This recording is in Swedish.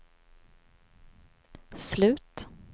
slut